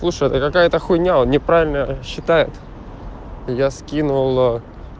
слушай это какая то хуйня он неправильно считает я скинула